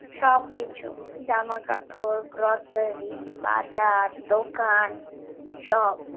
সবকিছু জামাকাপড় grocery বাজার দোকান সব